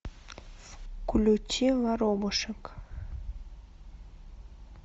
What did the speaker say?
включи воробушек